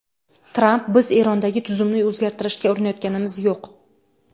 Tramp: Biz Erondagi tuzumni o‘zgartirishga urinayotganimiz yo‘q.